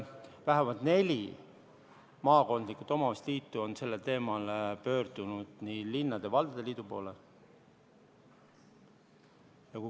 Vähemalt neli maakondlikku omavalitsuste liitu on sellel teemal pöördunud linnade ja valdade liidu poole.